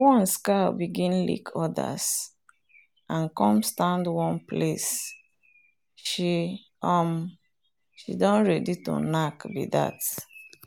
once cow begin lick others and come stand one place she um don ready to knack be that.